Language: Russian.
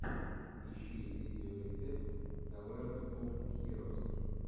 ищи видеорецепт таверн оф хирос